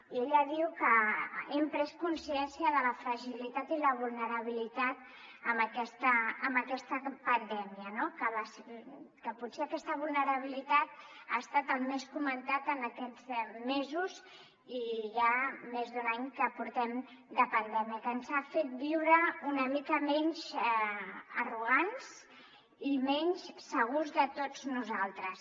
i ella diu que hem pres consciència de la fragilitat i la vulnerabilitat amb aquesta pandèmia no que potser aquesta vulnerabilitat ha estat el més comentat en aquests mesos i ja més d’un any que portem de pandèmia que ens ha fet viure una mica menys arrogants i menys segurs de tots nosaltres